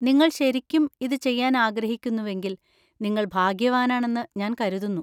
നിങ്ങൾ ശരിക്കും ഇത് ചെയ്യാൻ ആഗ്രഹിക്കുന്നുവെങ്കിൽ, നിങ്ങൾ ഭാഗ്യവാനാണെന്ന് ഞാൻ കരുതുന്നു.